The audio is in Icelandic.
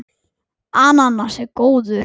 Íbúum hefur fjölgað mikið.